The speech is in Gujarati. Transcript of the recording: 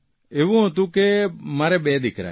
એવું હતું કે મારે બે દિકરા છે